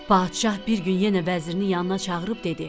Padşah bir gün yenə vəzirini yanına çağırıb dedi: